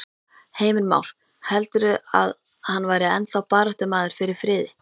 Heimir Már: Heldurðu að hann væri ennþá baráttumaður fyrir friði?